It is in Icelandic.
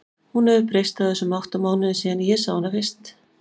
Hún hefur breyst á þessum átta mánuðum síðan ég sá hana fyrst.